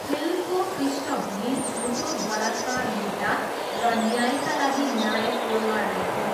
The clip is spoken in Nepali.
फिल्मको पृष्ठभूमि झुटो बलात्कार मुद्दा र न्यायका लागि नायकको लडाइँ हो।